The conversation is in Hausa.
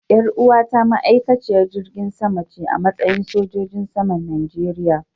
Yar uwata ma'aikaciyar jirgin sama ce a matsayi sojojin saman Najeriya.